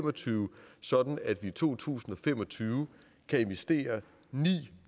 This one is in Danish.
og tyve sådan at vi i to tusind og fem og tyve kan investere ni